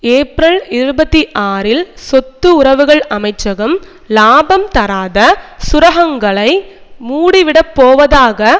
April இருபத்தி ஆறில் சொத்து உறவுகள் அமைச்சகம் இலாபம் தராத சுரகங்களை மூடிவிடப்போவதாக